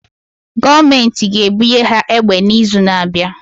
Gọọmentị ga-ebunye ha egbe n'izu na-abịa.